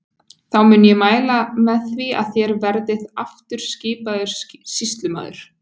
Þá mun ég mæla með því að þér verðið aftur skipaður sýslumaður.